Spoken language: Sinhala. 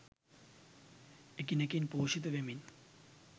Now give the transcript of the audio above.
එකිනෙකින් පෝෂිත වෙමින්